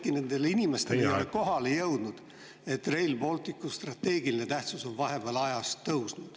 … äkki nendele inimestele ei ole kohale jõudnud, et Rail Balticu strateegiline tähtsus on vahepeal tõusnud.